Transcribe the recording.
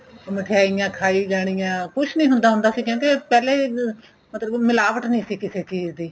ਉਹ ਮਿਠਾਈਆਂ ਖਾਈ ਜਾਣੀਆਂ ਕੁੱਝ ਨਹੀਂ ਹੁੰਦਾ ਸੀ ਕਹਿੰਦੇ ਪਹਿਲੇ ਮਤਲਬ ਮਿਲਾਵਟ ਨਹੀਂ ਸੀ ਕਿਸੇ ਚੀਜ਼ ਦੀ